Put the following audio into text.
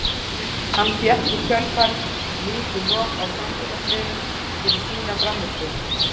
Hann fékk í kjölfarið mikið lof á samfélagsmiðlum fyrir sína frammistöðu.